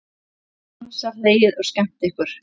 Dansað, hlegið og skemmt ykkur.